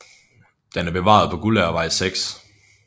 Den er bevaret på Guldagervej 6